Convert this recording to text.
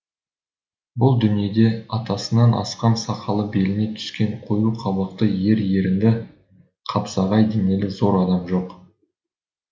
бұл дүниеде атасынан асқан сақалы беліне түскен қою қабақты ер ерінді қапсағай денелі зор адам жоқ